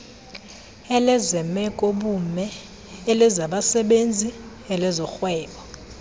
elezemekobume elezabasebenzi elezorhwebo